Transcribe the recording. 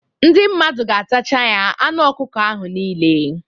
Ndị mmadụ ga-atacha ya anụ ọkụkọ ahụ nile